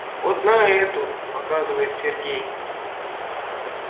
вот на эту показывает сергей